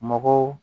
Mɔgɔw